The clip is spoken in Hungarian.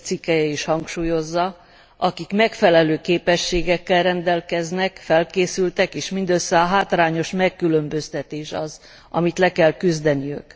7. cikkelye is hangsúlyozza akik megfelelő képességekkel rendelkeznek, felkészültek és mindössze a hátrányos megkülönböztetés az, amit le kell küzdeniük.